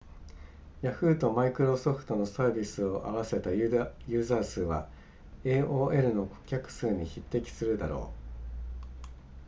ヤフーとマイクロソフトのサービスを合わせたユーザー数は aol の顧客数に匹敵するだろう